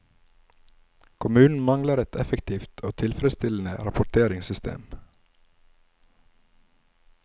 Kommunen mangler et effektivt og tilfredsstillende rapporteringssystem.